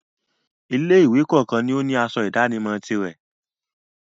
Ilé-ìwé kọ̀ọ̀kan ni ó ní asọ ìdánimọ̀ tirẹ̀.